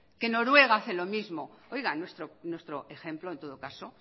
que noruega hace lo mismo oiga nuestro ejemplo en todo caso